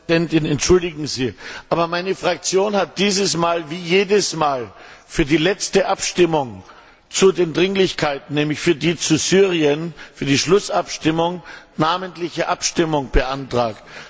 Frau Präsidentin! Entschuldigen Sie, aber meine Fraktion hat dieses Mal wie jedes Mal für die letzte Abstimmung zu den Dringlichkeiten, nämlich für die zu Syrien, für die Schlussabstimmung namentliche Abstimmung beantragt.